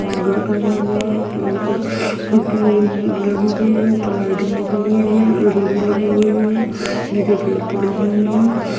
और गेट लगा हुई है पर खिड़किया लगी लगी हुई है ऊपर लाइटिंग लगी हुई है और लगी हुई है नीचे चेयर पड़े हुए है।